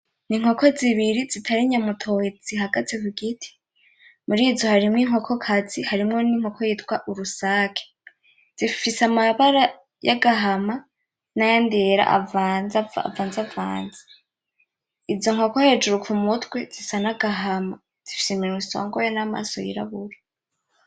N'inkoko zibiri zitari inyamutoyi zihagaze kugiti muri zo harimwo inkoko kazi harimwo n'inkoko yitwa urusake zifise amabara y'agahama nayandi yera avanze vanze izo nkoko hejuru ku mutwe zisa n'agahama zifise iminwa isongoye namaso yirabura .